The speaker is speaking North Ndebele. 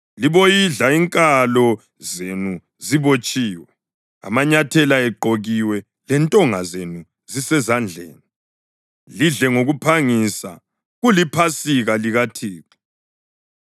Liboyidla inkalo zenu zibotshiwe, amanyathela egqokiwe lentonga zenu zisezandleni. Lidle ngokuphangisa; kuliPhasika likaThixo.